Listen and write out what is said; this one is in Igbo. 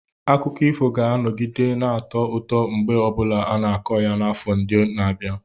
Akụkọ ifo ga-anọgide na-atọ ụtọ mgbe ọ bụla a na-akọ ya n'afọ ndị na-abịa.